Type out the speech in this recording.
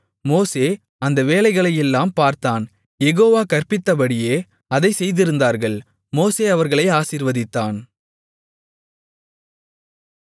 மோசே அந்த வேலைகளையெல்லாம் பார்த்தான் யெகோவா கற்பித்தபடியே அதைச் செய்திருந்தார்கள் மோசே அவர்களை ஆசீர்வதித்தான்